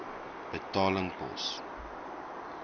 betaling pos